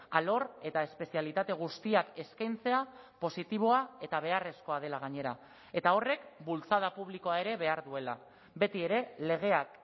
alor eta espezialitate guztiak eskaintzea positiboa eta beharrezkoa dela gainera eta horrek bultzada publikoa ere behar duela betiere legeak